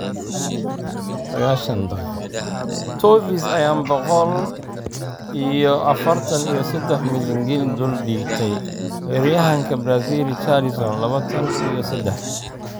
(Sagashaan daqiqo) Toffees ayaan boqol iyo afartan iyo sedax milyan ginni dul dhigtay weeraryahanka Brazil Richarlison, labatan iyo sedax.